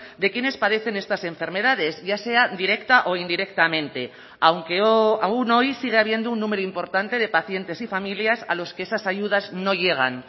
de quienes padecen estas enfermedades ya sea directa o indirectamente aunque aún hoy sigue habiendo un número importante de pacientes y familias a los que esas ayudas no llegan